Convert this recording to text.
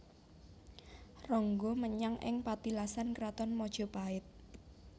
Ronggo menyang ing patilasan Kraton Mojopait